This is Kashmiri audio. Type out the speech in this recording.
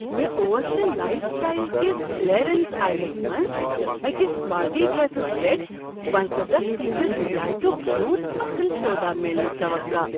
مےٚ اوس نہٕ لایف سٹایل کس کلیرنس آیزلس منٛز أکس پارٹی ڈریسس پیٹھ پنژستَتھ فی صد رِیایتُک یوٗت اصٕل سودا میلنُك توقع۔